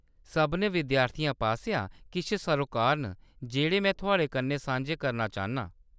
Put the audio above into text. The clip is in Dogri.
सभनें विद्याथियें पासेआ किश सरोकार न जेह्‌‌ड़े में थुआढ़े कन्नै सांझे करना चाह्‌न्नां।